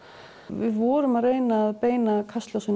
við vorum að reyna að beina